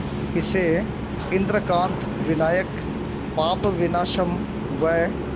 इसे इंद्रकांत विनायक पापविनाशम व